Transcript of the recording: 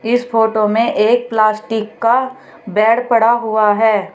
इस फोटो में एक प्लास्टिक का बेड पड़ा हुआ है।